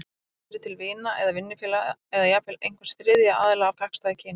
Það getur verið til vina eða vinnufélaga, eða jafnvel einhvers þriðja aðila af gagnstæðu kyni.